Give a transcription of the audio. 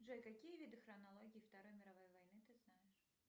джой какие виды хронологии второй мировой войны ты знаешь